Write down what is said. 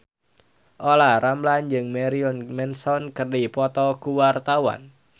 Olla Ramlan jeung Marilyn Manson keur dipoto ku wartawan